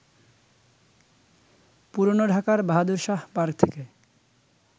পুরনো ঢাকার বাহাদুর শাহ পার্ক থেকে